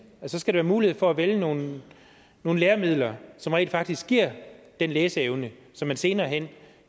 for så skal der være mulighed for at vælge nogle nogle læremidler som rent faktisk giver den læseevne som man senere hen